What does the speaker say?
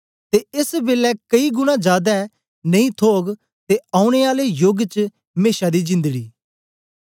ते एस बेलै कई गुणा जादै नेई थोग ते औने आले योग च मेशा दी जिंदड़ी